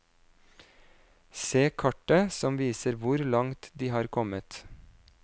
Se kartet som viser hvor langt de har kommet.